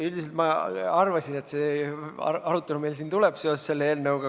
Üldiselt ma arvasin, et see arutelu meil siin tuleb seoses selle eelnõuga.